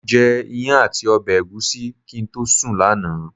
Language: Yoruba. Mo jẹ iyán àti ọbẹ̀ ẹ̀gúsí kí n tó sùn lánàá.